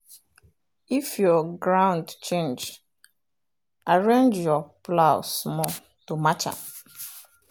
if your ground change arrange your plow small to match am.